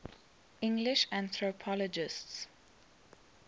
english anthropologists